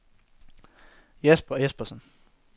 Jesper Espersen